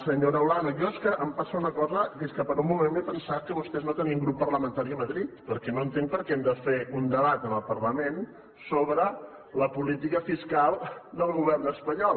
senyora olano a mi és que em passa una cosa que és que per un moment m’he pensat que vostès no tenien grup parlamentari a madrid perquè no entenc per què hem de fer un debat en el parlament sobre la política fiscal del govern espanyol